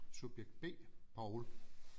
Subjekt B Poul